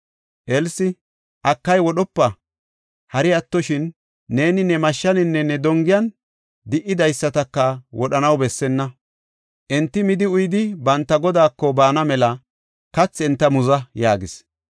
Elsi, “Akay, wodhopa! Hari attoshin, neeni ne mashshaninne ne dongiyan di77idaysataka wodhanaw bessenna. Enti midi uyidi banta godaako baana mela kathi enta muza” yaagis.